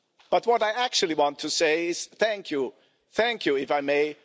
But what I actually want to say, is thank you, thank you if I may